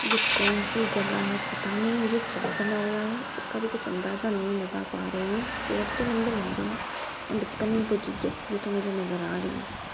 ये कौन सी जगह है पता नहीं मुझे क्या बना हुआ है इसका भी कुछ अंदाज़ा नहीं लगा पा रही हूँ पेड तो लम्बे-लम्बे हैं एंड यस ये तो मुझे नजर आ रही है।